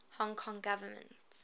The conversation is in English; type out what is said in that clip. hong kong government